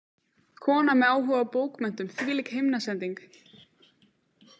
Kona með áhuga á bókmenntum, þvílík himnasending!